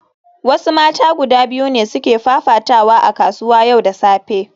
Wasu mata guda biyu ne suke fafatawa a kasuwa yau da safe